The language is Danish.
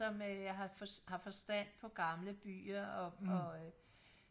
som øh har har forstand på gamle byer og og